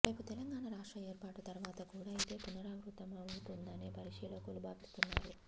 రేపు తెలంగాణ రాష్ట్ర ఏర్పాటు తర్వాత కూడా ఇదే పునరావృత్తమవుతుందనే పరిశీలకులు భావిస్తున్నారు